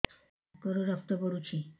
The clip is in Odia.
ନାକରୁ ରକ୍ତ ପଡୁଛି